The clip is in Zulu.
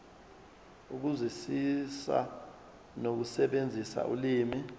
ukuzwisisa nokusebenzisa ulimi